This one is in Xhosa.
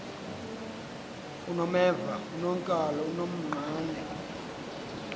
unomeva unonkala unonqane